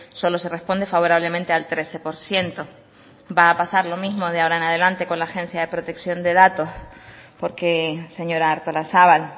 solo se responde favorablemente al trece por ciento va a pasar lo mismo de ahora en adelante con la agencia de protección de datos porque señora artolazabal